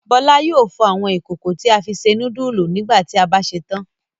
Bọ́lá yóò fọ àwọn ìkòkò tí a bá fi se núdúlù nígbà tí a bá ṣetán.